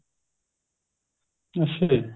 ਅੱਛਿਆ ਜੀ